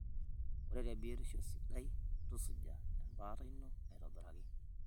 Ore tebiotisho sidai, tusuja embaata ino aitobiraki.